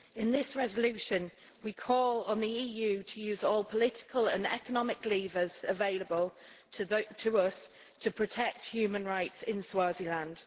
In this resolution we call on the EU to use all political and economic levers available to us to protect human rights in Swaziland.